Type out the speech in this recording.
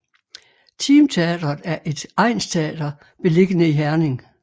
Team Teatret er et egnsteater beliggende i Herning